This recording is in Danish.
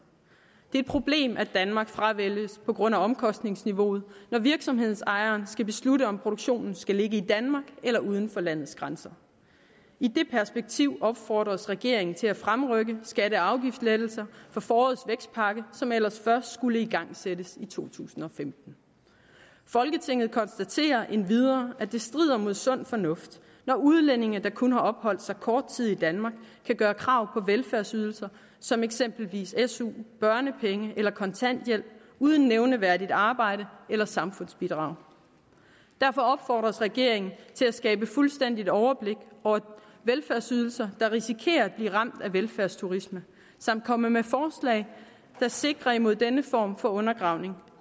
det er et problem at danmark fravælges på grund af omkostningsniveauet når virksomhedsejeren skal beslutte om produktionen skal ligge i danmark eller uden for landets grænser i det perspektiv opfordres regeringen til at fremrykke skatte og afgiftslettelser fra forårets vækstpakke som ellers først skulle igangsættes i to tusind og femten folketinget konstaterer endvidere at det strider mod sund fornuft når udlændinge der kun har opholdt sig kort tid i danmark kan gøre krav på velfærdsydelser som eksempelvis su børnepenge eller kontanthjælp uden nævneværdigt arbejde eller samfundsbidrag derfor opfordres regeringen til at skabe fuldstændigt overblik over velfærdsydelser der risikerer at blive ramt af velfærdsturisme samt komme med forslag der sikrer imod denne form for undergravning